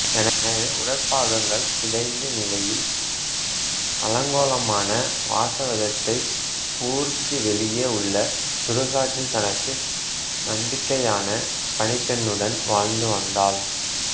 எனவே உடற்பாகங்கள் சிதைந்த நிலையில் அலங்கோலமான வாசவதத்தை ஊருக்கு வெளியே உள்ள சுடுகாட்டில் தனக்கு நம்பிக்கையான பணிப்பெண்னுடன் வாழ்ந்து வந்தாள்